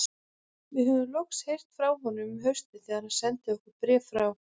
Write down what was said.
Við höfðum loks heyrt frá honum um haustið þegar hann sendi okkur bréf frá